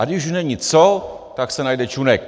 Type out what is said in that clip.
- A když už není co, tak se najde Čunek.